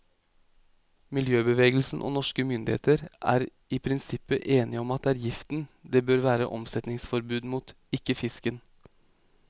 Miljøbevegelsen og norske myndigheter er i prinsippet enige om at det er giften det bør være omsetningsforbud mot, ikke fisken.